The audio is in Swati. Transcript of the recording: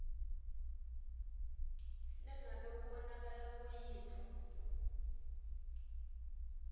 nangabe kubonakala kuyintfo